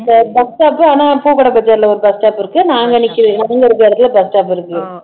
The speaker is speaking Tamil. bus stop ஆனா பூ கடை பஜார்ல ஒரு bus stop இருக்கு நாங்க நிக்கிற நாங்க இருக்குற இடத்துல bus stop இருக்கு